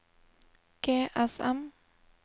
GSM